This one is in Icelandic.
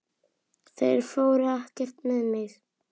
Þeir fóru ekkert með mig!